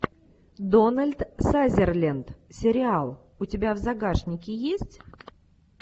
дональд сазерленд сериал у тебя в загашнике есть